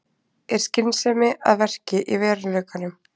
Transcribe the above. Er skynsemi að verki í veruleikanum?